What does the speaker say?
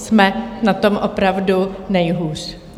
Jsme na tom opravdu nejhůř.